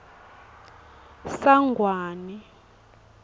sangwane